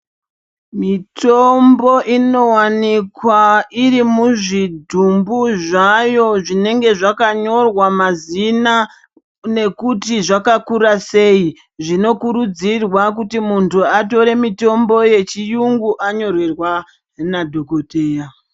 Mitombo inowanikwa iri muzvidhumbu zvayo zvinenge zvakanyorwa mazina nekuti zvakakura sei. Zvinokurudzirwa kuti muntu atore mitombo yechiyungu anyorerwa nadhokoteya.